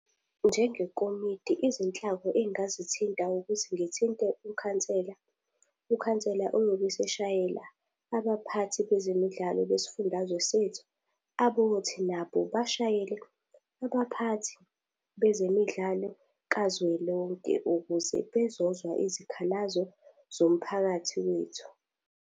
Njengekomidi izinhlaka engazithinta ukuthi ngithinte ukhansela. Ukhansela uyobe eseshayelwa abaphathi bezemidlalo besifundazwe sethu. Abothi nabo bashayele abaphathi bezemidlalo kazwelonke ukuze bezozwa izikhalazo zomphakathi wethu.